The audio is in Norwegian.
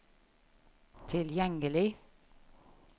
tilgjengelig